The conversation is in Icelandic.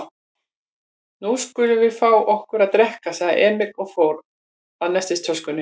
Nú skulum við fá okkur að drekka, sagði Emil og fór að nestistöskunni.